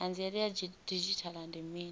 hanziela ya didzhithala ndi mini